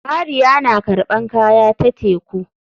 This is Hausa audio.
Mariya na karɓan kaya ta teku.